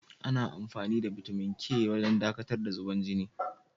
Ana amfani da bitamin K don dakatar da zubar jini.